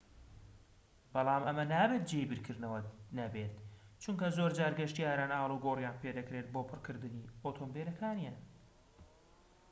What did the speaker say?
بەڵام ئەمە نابێت جێی بیرکردنەوەت نەبێت چونکە زۆرجار گەشتیاران ئالوگۆڕیان پێدەکرێت بۆ پڕکردنی ئۆتۆمبیلەکان